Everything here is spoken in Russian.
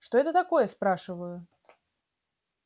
что это такое спрашиваю